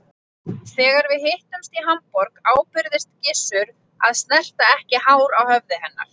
Þegar við hittumst í Hamborg ábyrgðist Gizur að snerta ekki hár á höfði hennar.